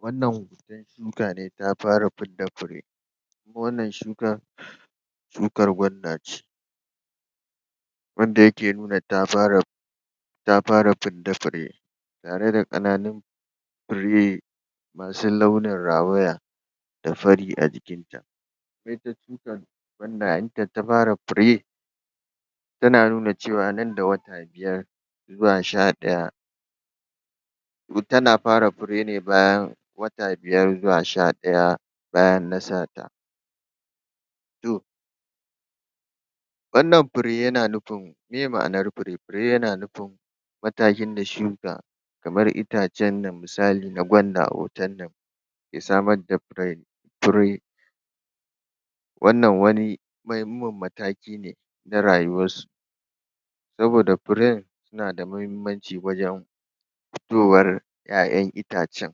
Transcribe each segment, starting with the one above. wannan shuka ne ta fara fidda fure wannan shukar shukar gwanda ce abinda yake nuna ta fara? ta fara fidda fure tare da ƙananun fure masu launin rawaya da fari a jikin ta? shukar wadda? ta fara fure tana nuna cewa nan da wata biyar zuwa sha ɗaya ta na fara fure ne bayan wata biyar zuwa sha ɗaya bayan dasa ta? wannan fure yana nufin meye ma'anar fure, fure yana nufin matakin da shuka kamar itacen nan misali ga gwanda a hoton nan samar da fure fure wannan wani muhimman mataki ne na rayuwar su saboda furen yana da muhimmaci wajen fitowar 'ya'yan itacen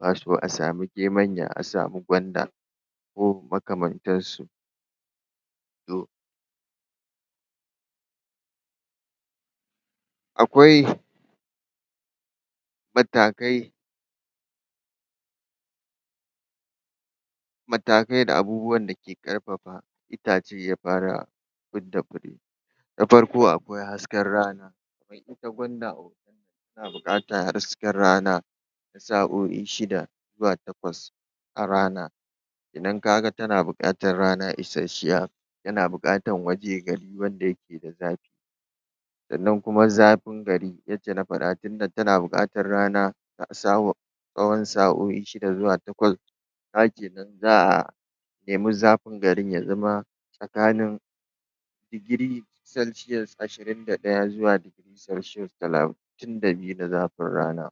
wato a samu gemanya a samu gwanda makamantansu? akwai matakai matakai da abubuwan da ke ƙarfafa itace ya fara fidda farko akwai hasken rana ita gwanda tana buƙatar hasken rana sa'o'i shida zuwa takwas a rana ka ga tana buƙatar rana isashiya tana buƙatar wajen gari inda ya ke da zafi nan kuma zafin gari yacca na faɗa tunda tana buƙatar rana? tsawon sa'o'i shida zuwa takwas ka ga kenan za a? zafin garin ya zama tsakanin degree celcius ashirin da ɗaya zuwa celcius talatin da biyu na zafin rana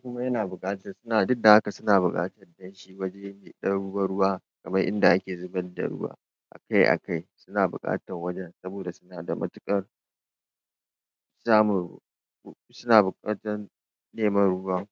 kuma yana buƙatar duk da haka suna buƙatar waje mai ɗan ruwa ruwa kamar in da a ke zubar da ruwa a kai a kai suna buƙatar wajen saboda suna da matuƙar samun ruwa suna buƙatar neman ruwa